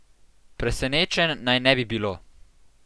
Presenečenj naj ne bi bilo.